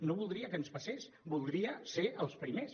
no voldria que ens passés voldria ser els primers